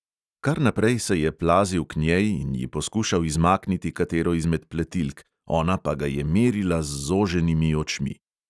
Kar naprej se je plazil k njej in ji poskušal izmakniti katero izmed pletilk, ona pa ga je merila z zoženimi očmi.